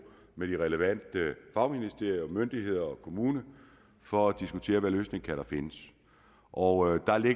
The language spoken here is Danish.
med de relevante fagministerier og myndigheder og med kommunen for at diskutere hvilken kan findes og